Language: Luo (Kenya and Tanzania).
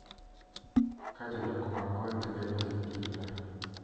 Ka jodak mag gwenge bedo gi kinda